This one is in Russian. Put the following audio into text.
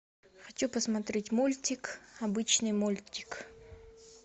хочу посмотреть мультик обычный мультик